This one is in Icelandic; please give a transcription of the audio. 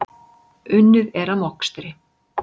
Unnið er að mokstri.